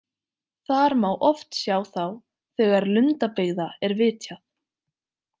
Þar má oft sjá þá þegar lundabyggða er vitjað.